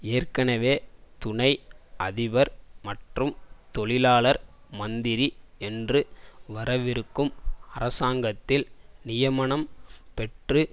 ஏற்கனவே துணை அதிபர் மற்றும் தொழிலாளர் மந்திரி என்று வரவிருக்கும் அரசாங்கத்தில் நியமனம் பெற்று